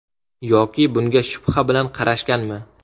Yoki bunga shubha bilan qarashganmi?